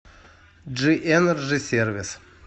джи энерджи сервис